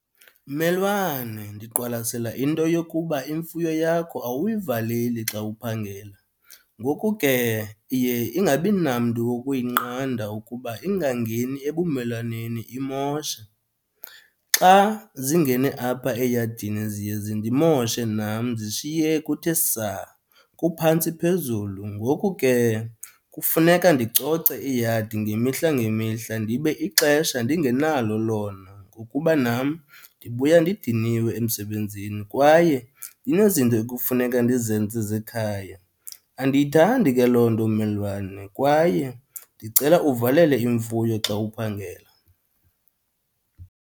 Mmelwane ndiqwalasela into yokuba imfuyo yakho awuyivaleli xa uphangela ngoku ke iye ingabi namntu wokuyinqanda ukuba ingangeni ebumelwaneni imoshe. Xa zingene apha eyadini ziye zindimoshe nam zishiye kuthe saa kuphantsi phezulu. Ngoku ke kufuneka ndicoce iyadi ngemihla ngemihla ndibe ixesha ndingenalo lona ngokuba nam ndibuya ndidiniwe emsebenzini kwaye kunezinto ekufuneka ndizenze zekhaya. Andiyithandi ke loo nto mmelwane kwaye ndicela uvalele imfuyo xa uphangela.